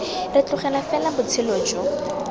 re tlogela fela botshelo jo